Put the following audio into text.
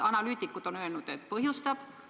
Analüütikud on öelnud, et põhjustab.